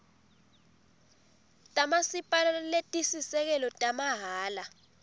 tamasipala letisisekelo tamahhala